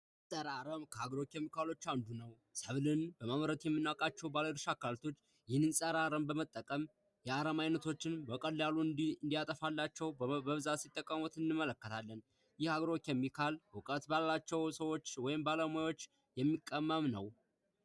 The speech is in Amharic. ፀረ አረም ከአግሮ ኬሚካሎች አንዱ ነው። ሰብል በማምረት የምናውቃቸው ባለድርሻ አካላቶች ይህንን ፀረ አረም በመጠቀም የአረም አይነቶችን በቀላሉ እንዲያጠፋላቸው በቀላሉ ሲጠቀሙት እንመለከታለን። ይህ አግሮ ኬሚካል እውቀት ባላቸው ሰዎች ወይም ባለሙያዎች የሚቀመም ነው።